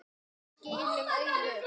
Skilum auðu.